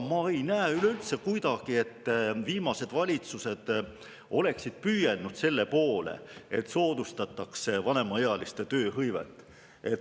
Ma üleüldse kuidagi ei näe, et viimased valitsused oleksid püüelnud selle poole, et soodustataks vanemaealiste tööhõivet.